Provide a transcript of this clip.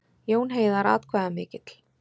Jón Heiðar atkvæðamikill